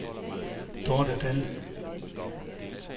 Dorte Dahl